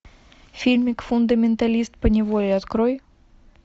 фильмик фундаменталист по неволе открой